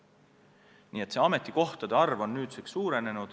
Nii et ametikohtade arv on nüüdseks suurenenud.